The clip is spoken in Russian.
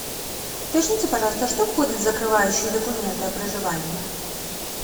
уточните пожалуйста что входит в закрывающие документы о проживании